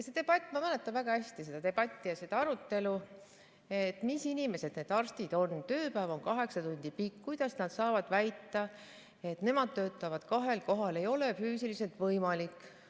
Ma mäletan väga hästi seda debatti ja arutelu selle üle, et mis inimesed need arstid on, tööpäev on kaheksa tundi pikk, kuidas nad saavad väita, et nemad töötavad kahel kohal, see ei ole füüsiliselt võimalik.